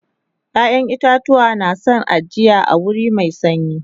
ƴaƴan itatuwa na San ajiya a wuri Mai sanyi